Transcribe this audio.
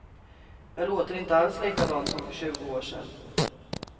Jag låter inte alls likadant som för tjugo år sen.